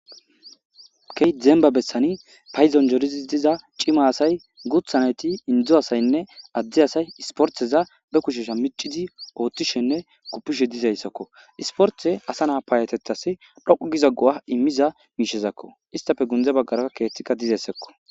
Keyta zemba bessani payizon jorizis diza cima asay guthaneti indzu asaynne addi asay isportheza be kushesha micidi oothtishenne kuppishe dizayssakko isporthe asa naa payatetas dhoqu giza go'a immiza miishezakko istafe gundze baggaraa keethtikka dizeyssekko.